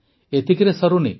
ଏତିକିରେ ସରୁନି